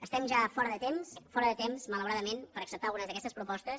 estem ja fora de temps fora de temps malauradament per acceptar algunes d’aquestes propostes